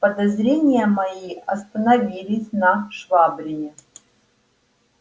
подозрения мои остановились на швабрине